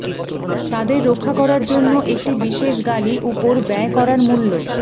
তাদের রক্ষা করার জন্য একটি বিশেষ গালি উপর ব্যয় করার মূল্য